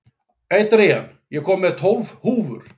Adrian, ég kom með tólf húfur!